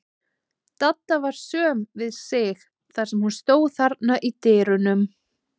Dadda var söm við sig þar sem hún stóð þarna í dyrunum.